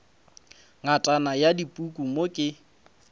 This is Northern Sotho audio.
ngatana ya dipuku mo ke